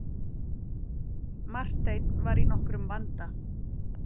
Marteinn var í nokkrum vanda.